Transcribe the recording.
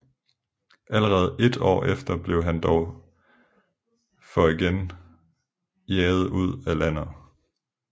Allerede ét år efter blev han dog for igen jaget ud af landet